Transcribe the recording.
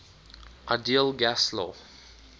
ideal gas law